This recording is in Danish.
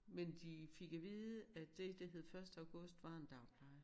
Men de fik at vide at det der hed første august var en dagpleje